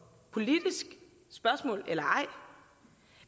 politisk spørgsmål eller ej